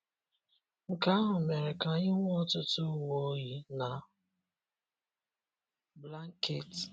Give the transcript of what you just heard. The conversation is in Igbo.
Nke ahụ mere ka anyị nwee ọtụtụ uwe oyi na blanket.